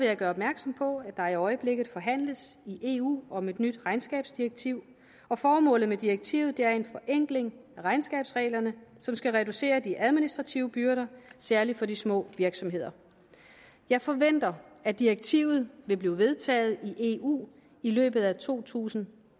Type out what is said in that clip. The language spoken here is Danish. jeg gøre opmærksom på at der i øjeblikket forhandles i eu om et nyt regnskabsdirektiv formålet med direktivet er en forenkling af regnskabsreglerne som skal reducere de administrative byrder særlig for de små virksomheder jeg forventer at direktivet vil blive vedtaget i eu i løbet af to tusind